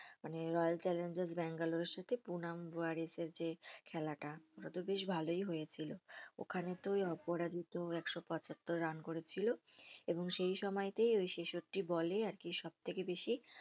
মানে Royal Challengers ব্যাঙ্গালোরের সাথে পুনা ওয়ারেসের যে খেলাটা ওটাতো বেশ ভালোই হয়েছিল ওখানে তো ওই অপরাজিত একশো পঁচাত্তর রান করেছিল এবং সেই সময়তেই ওই ছেষট্টি বলে আরকি সবথেকে বেশি